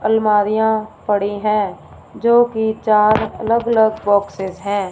अलमारियां पड़ी है जोकि चार अलग अलग बॉक्से हैं।